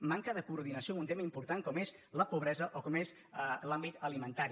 manca de coordinació amb un tema important com és la pobresa o com és l’àmbit alimentari